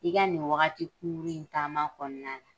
I ka nin wagati kunkurunnin in taama kɔnɔna na